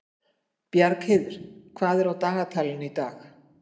Bjargheiður, hvað er á dagatalinu í dag?